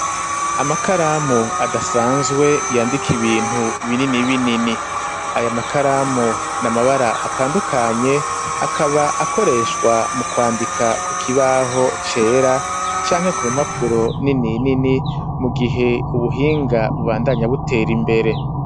Amakaramu adasanzwe yandika ibintu binini binini aya makaramu n'amabara atandukanye akaba akoreshwa mu kwandika ku kibaho cera canke ku mpapuro nini nini mu gihe ubuhinga bubandanya butera imbere.